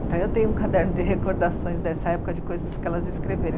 Então, eu tenho um caderno de recordações dessa época de coisas que elas escreveram.